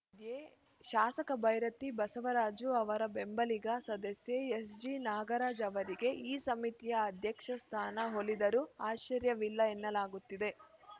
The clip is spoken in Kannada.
ಏ ಶಾಸಕ ಭೈರತಿ ಬಸವರಾಜು ಅವರ ಬೆಂಬಲಿಗ ಸದಸ್ಯ ಎಸ್‌ಜಿನಾಗರಾಜ್‌ ಅವರಿಗೆ ಈ ಸಮಿತಿಯ ಅಧ್ಯಕ್ಷ ಸ್ಥಾನ ಒಲಿದರೂ ಆಶ್ಚರ್ಯವಿಲ್ಲ ಎನ್ನಲಾಗುತ್ತಿದೆ